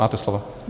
Máte slovo.